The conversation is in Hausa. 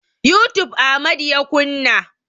Youtube Amadu ya kunna.